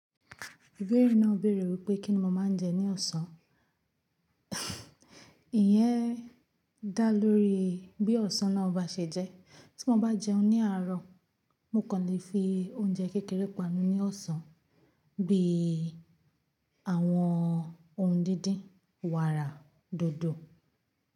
Obì emi náà béèrè wípé kíni mo máa ń jẹ ní ọ̀sán. Ìyẹn dá lórí bí ọ̀sán náà ba ṣe jẹ́. Tí mo bá jẹun ní àárọ̀, mo kàn lè fi oúnjẹ kékeré panu ní ọ̀sán bí i àwọn ohun díndín, wàrà, dòdò.